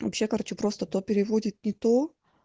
вообще короче просто то переводит не то